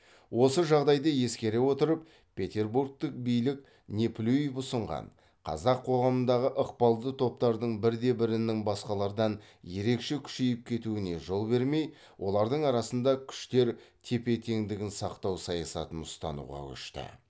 осы жағдайды ескере отырып петербургтік билік неплюев ұсынған қазақ қоғамындағы ықпалды топтардың бірде бірінің басқалардан ерекше күшейіп кетуіне жол бермей олардың арасында күштер тепе теңдігін сақтау саясатын ұстануға көшті